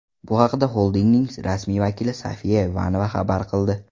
Bu haqda xoldingning rasmiy vakili Sofiya Ivanova xabar qildi.